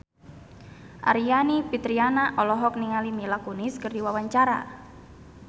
Aryani Fitriana olohok ningali Mila Kunis keur diwawancara